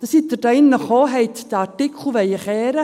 Da sind sie hier gekommen und wollten den Artikel drehen.